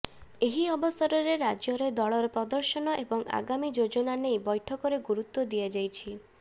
ଏହି ଅବସରରେ ରାଜ୍ୟରେ ଦଳର ପ୍ରଦର୍ଶନ ଏବଂ ଆଗାମୀ ଯୋଜନା ନେଇ ବୈଠକରେ ଗୁରୁତ୍ୱ ଦିଆଯାଇଛି